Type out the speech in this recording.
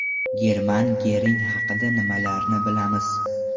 German Gering haqida nimalarni bilamiz?.